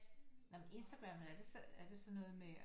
Nej men Instagram er det sådan noget med